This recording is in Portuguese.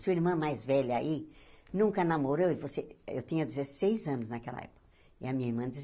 Sua irmã mais velha aí nunca namorou e você... Eu tinha dezesseis anos naquela época, e a minha irmã